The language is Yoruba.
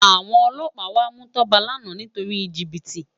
Awòn òlòpá wá mú Toba làná nitóri jibiti